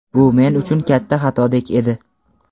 Bu men uchun katta xatodek edi.